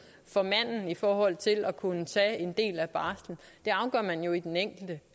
for manden i forhold til at kunne tage en del af barslen det afgør man jo i den enkelte